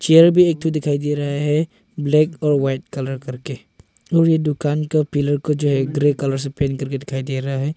Chair भी एक थो दिखाई दे रहा है ब्लैक और वाइट कलर करके और ये दुकान के पिल्लर को जो है ग्रे कलर से पेंट करके दिखाई दे रहा है।